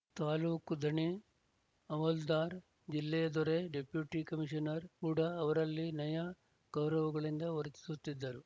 ತಾಲೂಕು ದಣೆ ಅಮಲ್ದಾರ್ ಜಿಲ್ಲೆಯ ದೊರೆ ಡೆಪ್ಯೂಟಿ ಕಮೀಷನರ್ ಕೂಡ ಅವರಲ್ಲಿ ನಯ ಗೌರವಗಳಿಂದ ವರ್ತಿಸುತ್ತಿದ್ದರು